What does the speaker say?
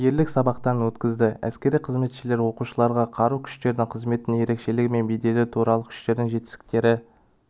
ерлік сабақтарын өткізді әскери қызметшілер оқушыларға қарулы күштердегі қызметтің ерекшелігі мен беделі қарулы күштердің жетістіктері